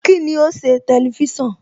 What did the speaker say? Kíni o ṣe Tẹlifísàn?